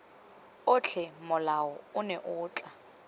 otlhe molao ono o tla